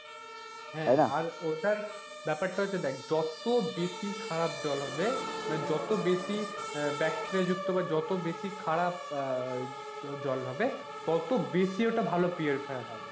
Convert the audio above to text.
হ্যাঁ, আর ওটার ব্যাপারটা হচ্ছে দেখ যত বেশি খারাপ জল হবে মানে যত বেশি bacteria যুক্ত যত বেশি খারাপ আহ জল হবে তত বেশি ওটা purifier হবে